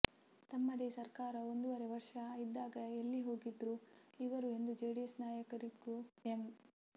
ತಮ್ಮದೆ ಸರ್ಕಾರ ಒಂದುವರೆ ವರ್ಷ ಇದ್ದಾಗ ಎಲ್ಲಿಹೋಗಿದ್ರೂ ಇವರು ಎಂದು ಜೆಡಿಎಸ್ ನಾಯಕರಿಗೂ ಎಂ